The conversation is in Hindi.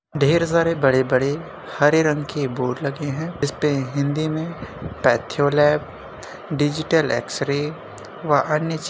ढेर सारे बड़े बड़े हरे रंग के बोर्ड लगे हैं इसपे हिंदी में पैथ्योलैब डिजिटल एक्सरे व अन्य ची --